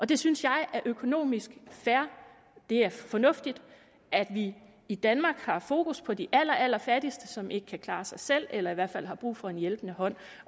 det synes jeg er økonomisk fair det er fornuftigt at vi i danmark har fokus på de allerallerfattigste som ikke kan klare sig selv eller som i hvert fald har brug for en hjælpende hånd